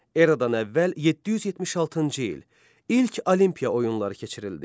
Eradan əvvəl 776-cı il, ilk Olimpiya oyunları keçirildi.